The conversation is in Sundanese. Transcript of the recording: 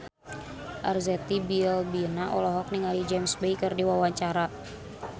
Arzetti Bilbina olohok ningali James Bay keur diwawancara